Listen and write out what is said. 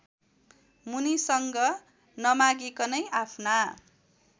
मुनिसँग नमागिकनै आफ्ना